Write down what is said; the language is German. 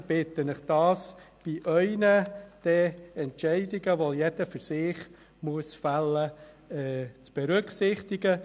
Ich bitte Sie, dies in Ihren Entscheidungen, die jeder für sich fällen muss, zu berücksichtigen.